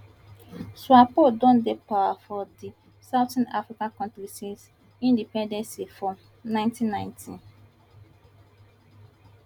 swapo don dey power for di southern african kontri since independency for ninety ninety